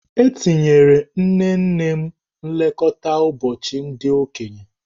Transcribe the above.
Etinyere nnenne m nlekọta ụbọchị ndị okenye.